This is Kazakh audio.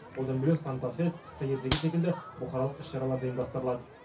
одан бөлек санта фест қысқы ертегі секілді бұқаралық іс шаралар да ұйымдастырылады